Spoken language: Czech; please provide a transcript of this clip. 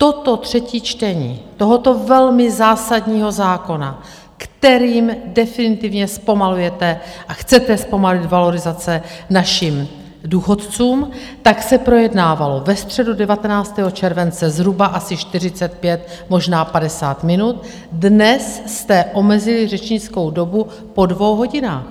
Toto třetí čtení tohoto velmi zásadního zákona, kterým definitivně zpomalujete a chcete zpomalit valorizace našim důchodcům, tak se projednávalo ve středu 19. července zhruba asi 45, možná 50 minut, dnes jste omezili řečnickou dobu po dvou hodinách.